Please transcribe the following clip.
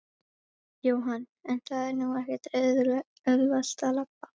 Jóhann: En það er nú ekkert auðvelt að labba?